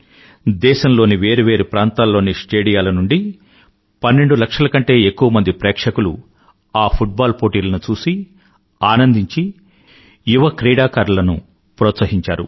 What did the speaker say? దేశంలోని వేరు వేరు ప్రాంతాల్లోని స్టేడియంల నుండి పన్నెండు లక్షల కంటే ఎక్కువమంది ప్రేక్షకులు ఆ ఫుట్ బాల్ పోటీలను చూసి ఆనందించి యువ క్రీడాకారులను ప్రోత్సహించారు